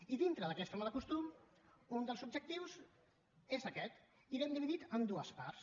i dintre d’aquest mal costum un dels objectius és aquest i l’hem dividit en dues parts